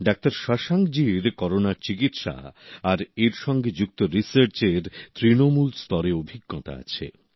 doctor Shashank জির করোনার চিকিৎসা আর এর সঙ্গে যুক্ত রিসার্চের তৃণমূলস্তরে অভিজ্ঞতা আছে